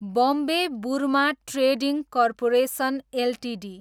Bombay Burma trading corporation Ltd